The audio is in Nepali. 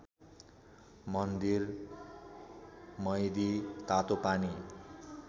मन्दिर मैदी तातोपानी